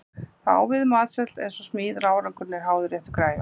Það á við um matseld eins og smíðar að árangurinn er háður réttu græjunum.